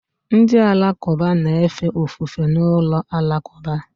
Ndị Alakụba na-efe ofufe n'ụlọ alakụba